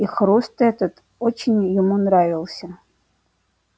и хруст этот очень ему нравился